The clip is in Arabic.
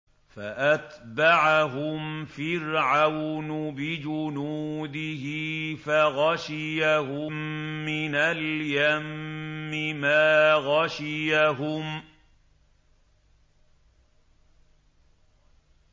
فَأَتْبَعَهُمْ فِرْعَوْنُ بِجُنُودِهِ فَغَشِيَهُم مِّنَ الْيَمِّ مَا غَشِيَهُمْ